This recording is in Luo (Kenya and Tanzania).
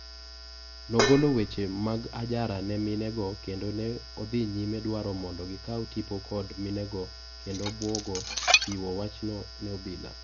Nogolo weche mag ajara ne mine go kendo ne odhi nyime dwaro mondo gikaw tipo kod minego kendo bwogo chiwo wach ne obila